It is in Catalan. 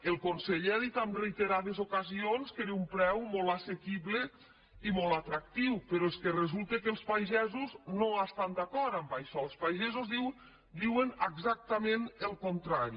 el conseller ha dit en reiterades ocasions que era un preu molt assequible i molt atractiu però és que resulta que els pagesos no estan d’acord amb això els pagesos diuen exactament el contrari